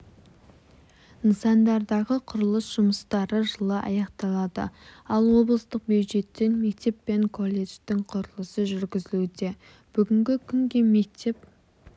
нысандардағы құрылыс жұмыстары жылы аяқталады ал облыстық бюджеттен мектеп пен колледждіңқұрылысы жүргізілуде бүгінгі күнге мектеп